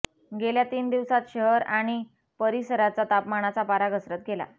गेल्या तीन दिवसांत शहर आणि परिसराचा तापमानाचा पारा घसरत गेला